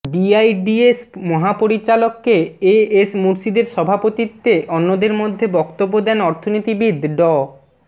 BIDS মহাপরিচালক K A S মুরশিদের সভাপতিত্বে অন্যদের মধ্যে বক্তব্য দেন অর্থনীতিবিদ ড